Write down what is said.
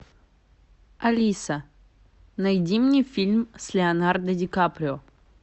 алиса найди мне фильм с леонардо ди каприо